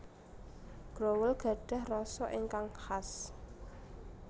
Growol gadhah rasa ingkang khas